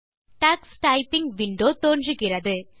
Tux typing window தோன்றுகிறது